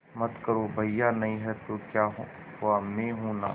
मत करो भैया नहीं हैं तो क्या हुआ मैं हूं ना